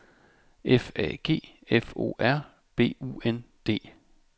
F A G F O R B U N D